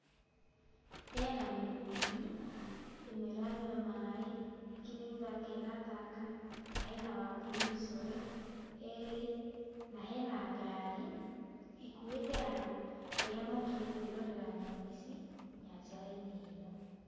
Hena mĩrũthi, ĩmwe ĩranyua maĩ, ĩngĩ nĩ gũthaka ĩrathaka, na hena wambui mĩcore, erĩ, na hena ngari, ĩkuuĩte andũ arĩa mokire kwĩrorera nyamũ ici, nyanjara-inĩ ĩno.